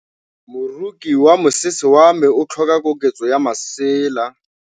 Moroki wa mosese wa me o tlhoka koketsô ya lesela.